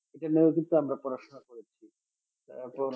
এটা নিয়েও কিন্তু আমরা পড়াশোনা করেছি তারপর